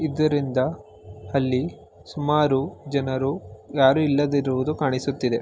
ಇದರಿಂದ ಅಲ್ಲಿ ಸುಮಾರು ಜನರು ಯಾರೂ ಇಲ್ಲದಿರುವುದು ಕಾಣಿಸುತ್ತಿದೆ.